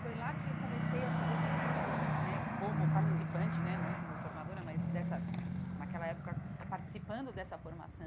Foi lá que eu comecei a fazer esses cursos né como participante né, não como formadora, mas, dessa naquela época, participando dessa formação.